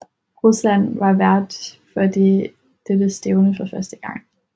Rusland var vært for dette stævne for første gang